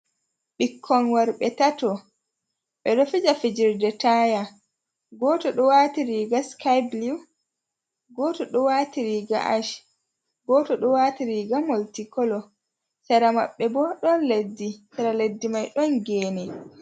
ko'e worɓe tato laɓinga kala kala fere ɓe do labi ɗum sera-sera ɓe do fodi hander man fere gasa man do juti do ɓalwi fere bo gasa man do juti amma dow man ɓalwaka.